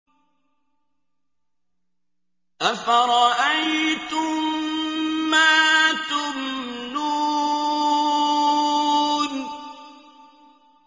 أَفَرَأَيْتُم مَّا تُمْنُونَ